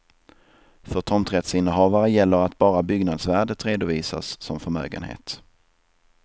För tomträttsinnehavare gäller att bara byggnadsvärdet redovisas som förmögenhet.